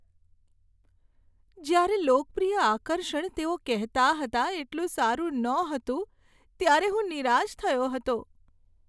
જ્યારે લોકપ્રિય આકર્ષણ તેઓ કહેતા હતા એટલું સારું નહોતું ત્યારે હું નિરાશ થયો હતો.